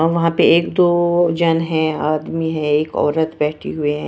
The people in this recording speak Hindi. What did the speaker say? वहां पे एक दो जन है आदमी है एक औरत बैठी हुई हैं।